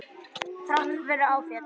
Þrátt fyrir áföll.